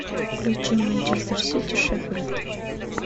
включи манчестер сити шеффилд